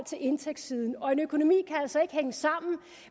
til indtægtssiden og en økonomi kan altså ikke hænge sammen